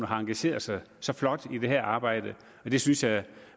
har engageret sig så flot i det her arbejde og det synes jeg